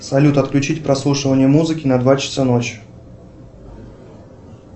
салют отключить прослушивание музыки на два часа ночи